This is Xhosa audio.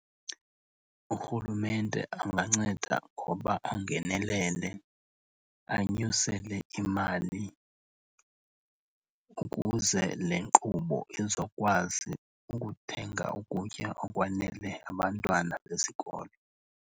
Urhulumente anganceda ngoba angenelele, anyusele imali ukuze le nkqubo izokwazi ukuthenga ukutya okwanele abantwana besikolo.